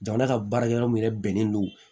Jamana ka baarakɛyɔrɔ min yɛrɛ bɛnnen do